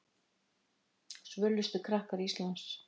Svölustu krakkar Íslands